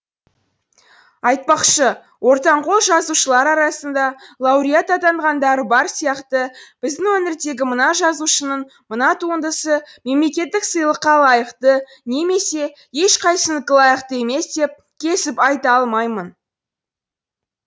айтпақшы ортанқол жазушылар арасында лауреат атанғандары бар сияқты біздің өңірдегі мына жазушының мына туындысы мемлекеттік сыйлыққа лайықты немесе ешқайсынікі лайықты емес деп кесіп айта алмаймын